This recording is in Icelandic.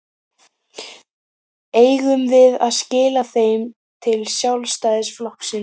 Eigum við að skila þeim til Sjálfstæðisflokksins?